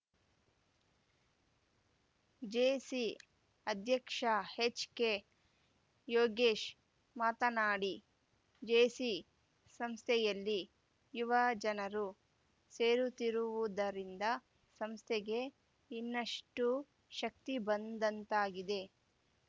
JC ಅಧ್ಯಕ್ಷ HK Yogesh ಮಾತನಾಡಿ JC ಸಂಸ್ಥೆಯಲ್ಲಿ ಯುವಜನರು ಸೇರುತ್ತಿರುವುದರಿಂದ ಸಂಸ್ಥೆಗೆ ಇನ್ನಷ್ಟುಶಕ್ತಿಬಂದಂತಾಗಿದೆ